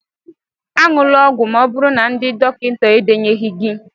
añula ọgwụ Ma oburu na ndị dọkịta edenyeghi gi